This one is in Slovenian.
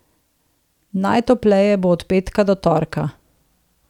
Najtopleje bo od petka do torka.